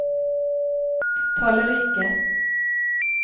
tallrike